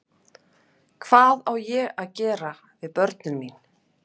Hvað á ég að gera við börnin mín?